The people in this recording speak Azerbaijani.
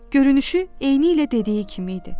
Görünüşü eynilə dediyi kimi idi.